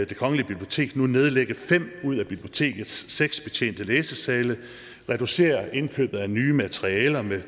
det kongelige bibliotek nu nedlægge fem ud af bibliotekets seks betjente læsesal reducere indkøbet af nye materialer med